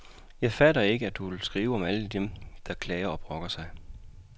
Jeg fatter ikke, at du vil skrive om alle dem, der klager og brokker sig.